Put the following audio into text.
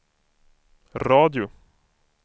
radio